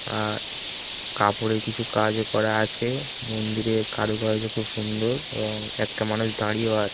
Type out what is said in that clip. আ কাপড়ে কিছু কাজ ও করা আছে মন্দিরে কারুকার্য খুব সুন্দর । এবং একটা মানুষ দাঁড়িয়েও আ --